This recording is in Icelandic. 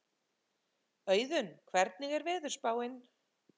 Auðunn, hvernig er veðurspáin?